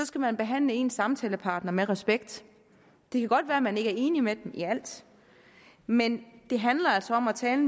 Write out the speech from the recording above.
skal man behandle ens samtalepartner med respekt det kan godt være at man ikke er enig med dem i alt men det handler altså om at tale